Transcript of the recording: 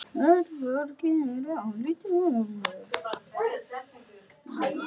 Öll borgin er álitin heilög.